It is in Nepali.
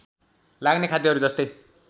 लाग्ने खाद्यहरू जस्तै